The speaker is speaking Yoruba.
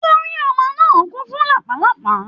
Orí ọmọ náà kún fún lápàlàpá.